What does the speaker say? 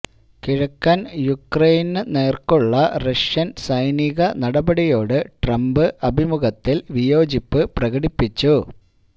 കിഴക്കന് യുക്രെയിന് നേര്ക്കുള്ള റഷ്യന് സൈനിക നടപടിയോട് ട്രംപ് അഭിമുഖത്തില് വിയോജിപ്പ് പ്രകടിപ്പിച്ചു